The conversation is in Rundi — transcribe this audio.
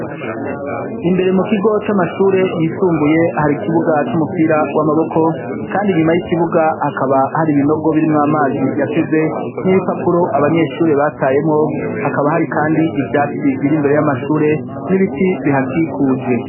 Imbere mu kigo c'amashure yisumbuye hari ikibuga c'umupira w'amaboko kandi nyuma y'ikibuga hakaba hari ibinogo biri mw'amazi yateze n'ibipapuro abanyeshuri batayemo hakaba hari kandi ivyatsi biri mbere y'amashure n'ibiti bihakikuje.